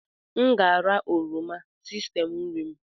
M ga-ara oroma sistemu nri m.